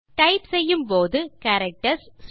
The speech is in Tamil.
டைப் செய்யும்போது கேரக்டர்ஸ்